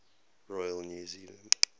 royal new zealand